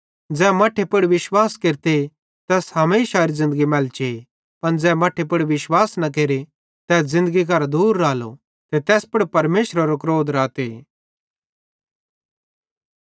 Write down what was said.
ज़ै परमेशरेरे मट्ठे पुड़ विश्वास केरते तैस हमेशारी ज़िन्दगी मैलचे पन ज़ै मट्ठे पुड़ विश्वास न केरे तै ज़िन्दगी करां दूर रालो ते तैस पुड़ परमेशरेरो क्रोध हुन्ना करां लेइतां हमेशा राते